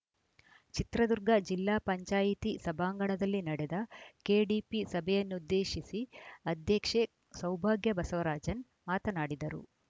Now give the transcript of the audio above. ಚಿತ್ರದುರ್ಗ ಜಿಲ್ಲಾ ಪಂಚಾಯಿತಿ ಸಭಾಂಗಣದಲ್ಲಿ ನಡೆದ ಕೆಡಿಪಿ ಸಭೆಯನ್ನುದ್ದೇಶಿಸಿ ಅಧ್ಯಕ್ಷೆ ಸೌಭಾಗ್ಯ ಬಸವರಾಜನ್‌ ಮಾತನಾಡಿದರು